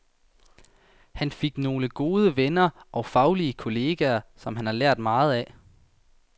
Han fik nogle gode venner og faglige kolleger, som han lærte meget af.